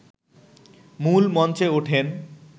মূল মঞ্চে ওঠেন